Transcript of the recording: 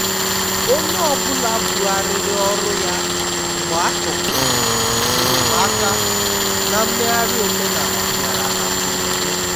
onye ọ bụla bugharịrị ọrụ ya mgbé a chọkwuru enyemaaka na mmegharị omenala bịara na mgberede.